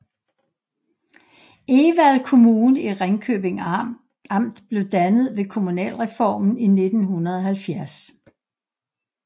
Egvad Kommune i Ringkøbing Amt blev dannet ved kommunalreformen i 1970